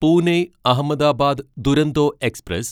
Pune Ahmedabad Duronto express